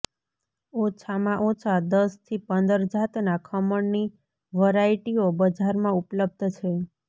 ઓછાંમાં ઓછાં દસથી પંદર જાતનાં ખમણની વરાઇટીઓ બજારમાં ઉપલબ્ધ છે